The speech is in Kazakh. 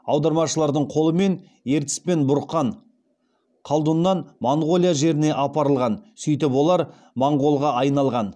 аудармашылардың қолымен ертіс пен бұрқан қалдұннан моңғолия жеріне апарылған сөйтіп олар моңғолға айналған